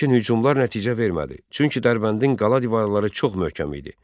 Lakin hücumlar nəticə vermədi, çünki Dərbəndin qala divarları çox möhkəm idi.